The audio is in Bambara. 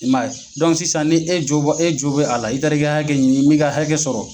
sisan ni e jo bɛ e jo bɛ a la, i taari ka haikɛ ɲini i min ka hakɛ sɔrɔ.